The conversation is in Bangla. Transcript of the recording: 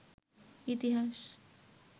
ইতিহাস